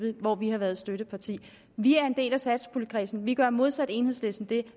hvor vi har været støtteparti vi er en del af satspuljekredsen og vi gør modsat enhedslisten det